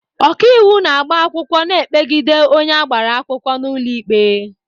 Ọkaiwu na-agba akwụkwọ na-ekpegide onye agbara akwụkwọ n'ụlọ ikpe.